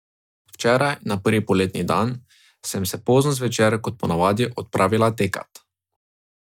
Včeraj, na prvi poletni dan, sem se pozno zvečer, kot ponavadi, odpravila tekat.